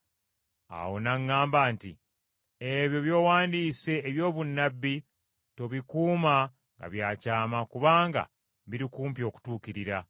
Awo n’aŋŋamba nti, “Ebyo by’owandiise eby’obunnabbi tobikuuma nga bya kyama kubanga biri kumpi okutuukirira.